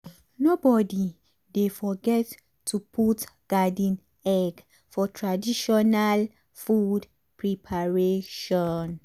nobody dey forget to put garden egg for traditional food preparation.